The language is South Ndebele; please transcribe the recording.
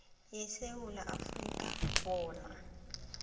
yesewula afrika bona